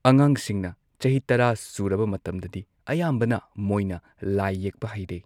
ꯑꯉꯥꯡꯁꯤꯡꯅ ꯆꯍꯤ ꯇꯔꯥ ꯁꯨꯔꯕ ꯃꯇꯝꯗꯗꯤ ꯑꯌꯥꯝꯕꯅ ꯃꯣꯏꯅ ꯂꯥꯏ ꯌꯦꯛꯄ ꯍꯩꯔꯦ꯫